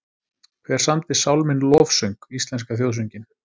Hver samdi sálminn Lofsöng, íslenska þjóðsönginn?